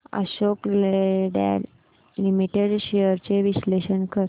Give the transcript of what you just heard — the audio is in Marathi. अशोक लेलँड लिमिटेड शेअर्स चे विश्लेषण कर